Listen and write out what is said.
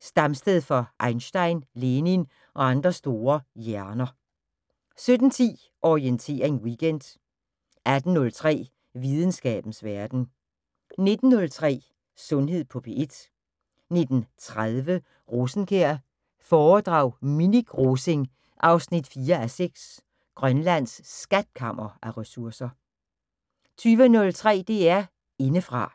stamsted for Einstein, Lenin og andre store hjerner 17:10: Orientering Weekend 18:03: Videnskabens Verden 19:03: Sundhed på P1 19:30: Rosenkjær foredrag Minik Rosing 4:6 Grønlands skatkammer af ressourcer 20:03: DR Indefra